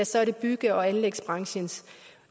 så er det bygge og anlægsbranchens